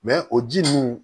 o ji ninnu